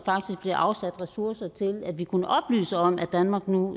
bliver afsat ressourcer til at vi kunne oplyse om at danmark nu